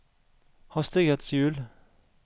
hastighetshjul